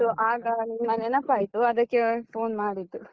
So , ಆಗ ನಿನ್ನ ನೆನಪಾಯ್ತು ಅದಕ್ಕೆ phone ಮಾಡಿದ್ದು.